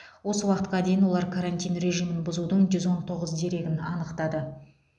осы уақытқа дейін олар карантин режиімін бұзудың жүз он тоғыз дерегін анықтады